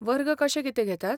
वर्ग कशे कितें घेतात?